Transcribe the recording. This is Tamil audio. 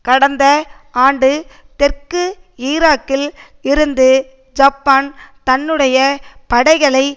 கடந்த ஆண்டு தெற்கு ஈராக்கில் இருந்து ஜப்பான் தன்னுடைய படைகளை